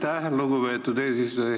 Aitäh, lugupeetud eesistuja!